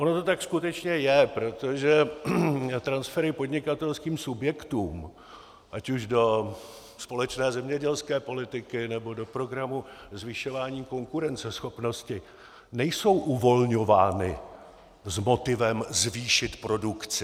Ono to tak skutečně je, protože transfery podnikatelským subjektům ať už do společné zemědělské politiky, nebo do programu zvyšování konkurenceschopnosti nejsou uvolňovány s motivem zvýšit produkci.